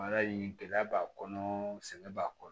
Baara in gɛlɛya b'a kɔnɔ sɛgɛn b'a kɔnɔ